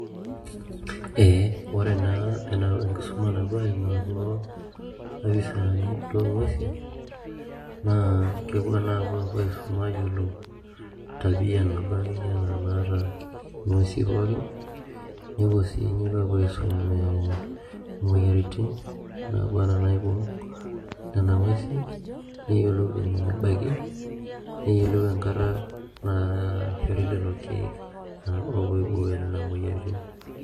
Ee ore naa enkisuma naapuo aimaa kulo opisaani loonguesin naa kepuo naa aapuo aisum aayiolou tabia naa akeyie enaa enaata nguesi pookin nepuo sii nepuo aisum entim naba enaa enaibung' Nena nguesi neyiolou enabaiki neyiolou enkata naa naishori lelo keek oopuo aibooyo nena moyiaritin.